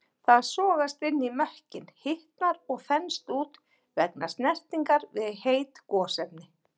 Það sogast inn í mökkinn, hitnar og þenst út vegna snertingar við heit gosefni.